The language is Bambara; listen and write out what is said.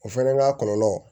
O fɛnɛ n'a kɔlɔlɔ